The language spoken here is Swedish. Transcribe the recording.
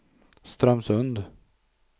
Strömsund